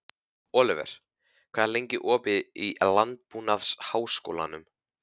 Oliver, hvað er lengi opið í Landbúnaðarháskólanum?